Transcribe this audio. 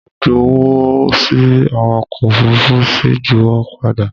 Mo ju wọ́ sí awakọ̀ òfurufú ó sì ju wipe padà